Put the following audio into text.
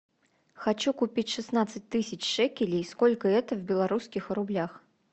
хочу купить шестнадцать тысяч шекелей сколько это в белорусских рублях